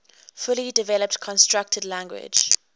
fully developed constructed language